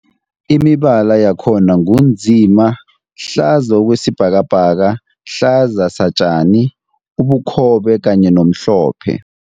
Imibala yakhona ngu nzima, hlaza kwesibhakabhaka, hlaza satjani, ubukhobe kanye nomhlophe.